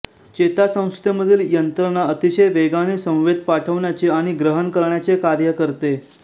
चेतासंस्थेमधील यंत्रणा अतिशय वेगाने संवेद पाठवण्याचेआणि ग्रहण करण्याचे कार्य करते